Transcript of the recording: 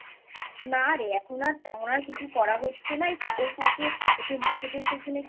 না রে এখন আর তেমন আর কিছু করা হচ্ছে না এই কাজের ফাঁকে একটু মাছেদের পিছনে একটু